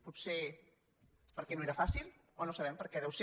potser perquè no era fàcil o no sabem per què deu ser